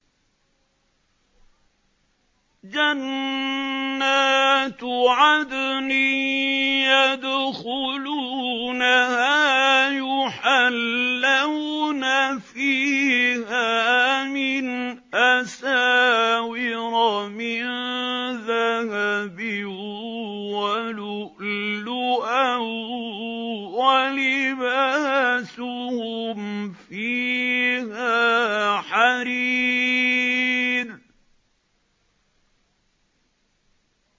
جَنَّاتُ عَدْنٍ يَدْخُلُونَهَا يُحَلَّوْنَ فِيهَا مِنْ أَسَاوِرَ مِن ذَهَبٍ وَلُؤْلُؤًا ۖ وَلِبَاسُهُمْ فِيهَا حَرِيرٌ